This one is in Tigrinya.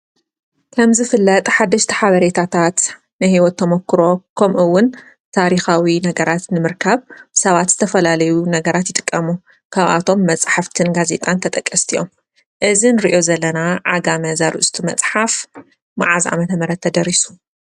ከምዝፍለጥ ሓደሽተ ሓበሬታታትን ሕይወት ተሞክሮ ኸምኡውን ታሪኻዊ ነገራት ንምርካብ ብሰባት ዝተፈላለዩ ነገራት ይጥቀም፡፡ ካብኣቶም መጽሕፍትን ጋዜጣን ተጠቀስቲ እዮም፡፡ እዚ ንርእዮ ዘለና ዓጋመ ዘርእስቱ መጽሓፍ መዓዝ ዓመተ ምህረት ተደሪሱ?